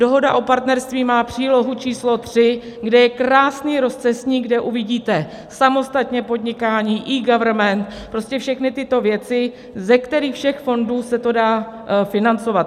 Dohoda o partnerství má přílohu číslo 3, kde je krásný rozcestník, kde uvidíte samostatně podnikání, eGovernment, prostě všechny tyto věci, ze kterých všech fondů se to dá financovat.